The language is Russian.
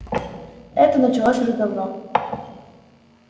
это началось уже давно